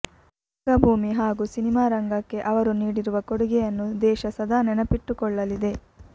ರಂಗಭೂಮಿ ಹಾಗೂ ಸಿನಿಮಾ ರಂಗಕ್ಕೆ ಅವರು ನೀಡಿರುವ ಕೊಡುಗೆಯನ್ನು ದೇಶ ಸದಾ ನೆನಪಿಟ್ಟುಕೊಳ್ಳಲಿದೆ